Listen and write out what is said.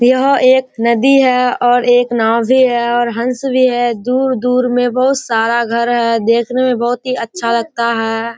यह एक नदी है और एक नाव भी है और हंस भी है दूर-दूर में बहुत सारा घर है देकने में बहुत ही अच्छा लगता है।